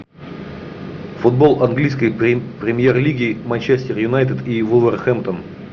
футбол английской премьер лиги манчестер юнайтед и вулверхэмптон